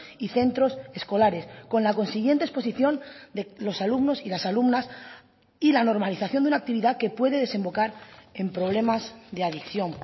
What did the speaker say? y centros escolares con la consiguiente exposición de los alumnos y las alumnas y la normalización de una actividad que puede desembocar en problemas de adicción